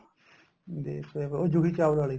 ਦੇਸ਼ ਹੋਇਆ ਪ੍ਰਦੇਸ ਉਹ ਜੂਹੀ ਚਾਵਲਾ ਵਾਲੀ